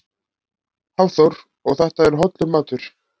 Hafþór: Og þetta er hollur matur?